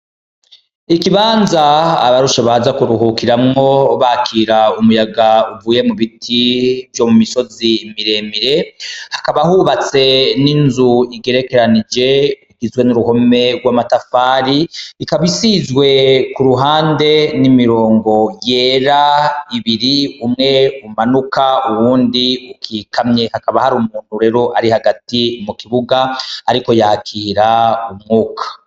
Ikibanza abarushe baza kuruhukiramwo bakira umuyaga uvuye mubiti vyo mu misozi miremire hakaba hubatse n'inzu igerekeranije n'uruhome gw'amatafari ikaba isizwe kuruhande n'imirongo yera ibiri umwe umanuka uwundi ukikamye hakaba harumuntu rero arihagati mu kibuga ariko yakira umwuga.